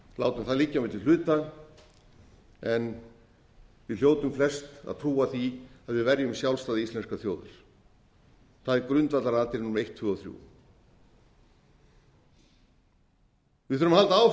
látum það liggja milli hluta en við hljótum flest að trúa því að við verðum sjálfstæði íslenskrar þjóðar það er grundvallaratriði númer eitt tvö og þrjú við þurfum að halda áfram við